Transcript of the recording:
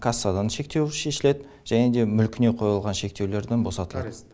кассадан шектеу шешіледі және де мүлкіне қойылған шектеулерден босатылады